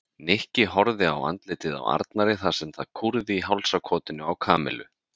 Nikki horfði á andlitið á Arnari þar sem það kúrði í hálsakotinu á Kamillu.